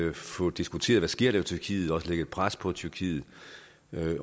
at få diskuteret hvad der sker i tyrkiet og lægge et pres på tyrkiet